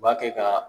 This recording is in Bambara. U b'a kɛ ka